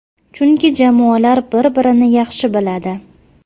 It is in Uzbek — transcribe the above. Chunki jamoalar bir birini yaxshi biladi.